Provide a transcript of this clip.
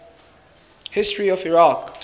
history of iraq